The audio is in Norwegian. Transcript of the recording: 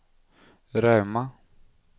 Rauma